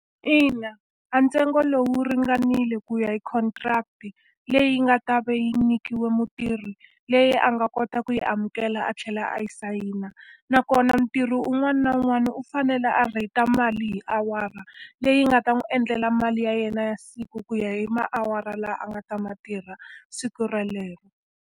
Ina a ntsengo lowu ringanile ku ya hi contract-i leyi nga ta va yi nyikiwe mutirhi, leyi a nga kota ku yi amukela a tlhela a yi sayina. Nakona mutirhi un'wana na un'wana u fanele a rate-a mali hi awara, leyi nga ta n'wi endlela mali ya yena ya siku ku ya hi tiawara leti a nga ta ti tirha siku relero.